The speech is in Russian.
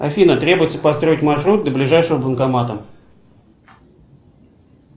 афина требуется построить маршрут до ближайшего банкомата